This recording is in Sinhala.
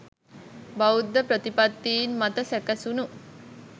බෞද්ධ ප්‍රතිපත්තීන් මත සැකැසුණු